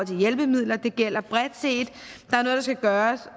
til hjælpemidler det gælder bredt set der skal gøres